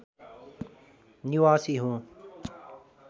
निवासी हुँ